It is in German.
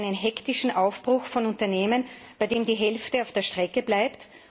Ich will keinen hektischen Aufbruch von Unternehmen, bei dem die Hälfte auf der Strecke bleibt.